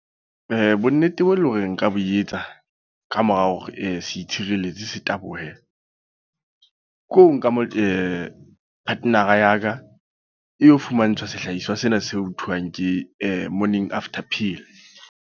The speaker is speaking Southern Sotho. Bonnete boo e leng hore nka bo etsa. Ka mora hore setshireletso se tabohe. Ke ho nka motho partner ya ka. E yo fumantshwa sehlahiswa sena se ho thwang ke Morning After Pill.